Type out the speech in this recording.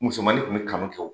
Musomani kun bi kanu kɛ